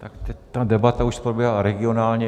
Tak teď ta debata už probíhá regionálně.